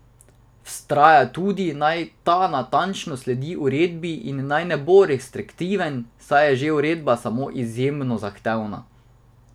Vztraja tudi, naj ta natančno sledi uredbi in naj ne bo bolj restriktiven, saj je že uredba sama izjemno zahtevna.